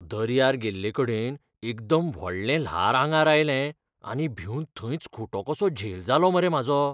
दर्यार गेल्लेकडेन एकदम व्हडलें ल्हार आंगार आयलें आनी भिवन थंयच खुटो कसो झेल जालो मरे म्हाजो.